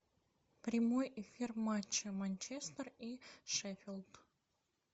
прямой эфир матча манчестер и шеффилд